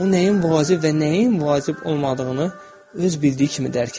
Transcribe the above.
Ona nəyin vacib və nəyin vacib olmadığını öz bildiyi kimi dərk edir.